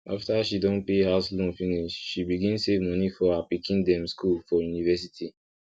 after she don pay house loan finish she begin save money for her pikin dem school for university